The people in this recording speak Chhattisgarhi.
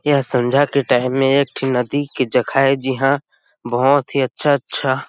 यह सांझ के टाइम में एक ठे नदी जगह है जहां बहुत अच्छा-अच्छा--